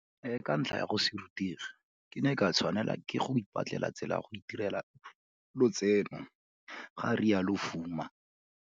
Ka ntlha ya go se rutege, ke ne ka tshwanela ke go ipatlela tsela ya go itirela lotseno, ga rialo Fuma.